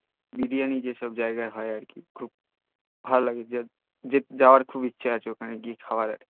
বিরিয়ানি জেসব জাইগাই হই আর কি খুব ভাল লাগে জাওয়ার খুব ইছহে আছে ওখানে গিয়ে খাওয়ার